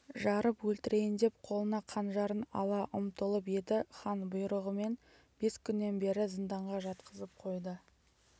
жарып өлтірейіндеп қолына қанжарын ала ұмтылып еді хан бұйрығымен бес күннен бері зынданға жатқызып қойды